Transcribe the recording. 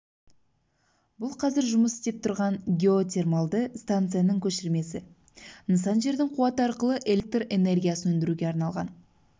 бұл қазір жұмыс істеп тұрған геотермалды станцияның көшірмесі нысан жердің қуаты арқылы электр энергиясын өндіруге арналған